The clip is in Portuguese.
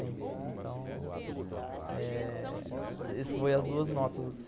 Então... Foi as duas notas.